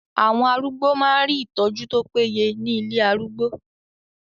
Àwọn arúgbó máa ń rí ìtọ́jú tó péye ní ilé arúgbó.